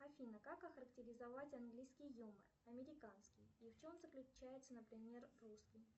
афина как охарактеризовать английский юмор американский и в чем заключается например русский